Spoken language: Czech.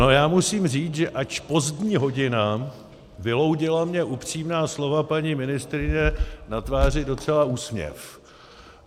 No já musím říct, že ač pozdní hodina, vyloudila mi upřímná slova paní ministryně na tváři docela úsměv.